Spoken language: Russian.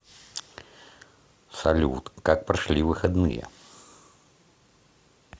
салют как прошли выходные